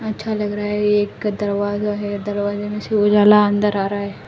अच्छा लग रहा है एक दरवाजा है दरवाजे में से उजाला अंदर आ रहा है।